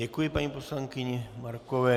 Děkuji paní poslankyni Markové.